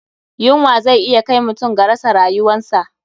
Yunwa zai iya kai mutum ga rasa ryuwansa.